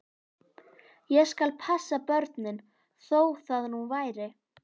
Ég skal passa börnin, þó það nú væri.